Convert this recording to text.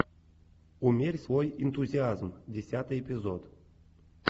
умерь свой энтузиазм десятый эпизод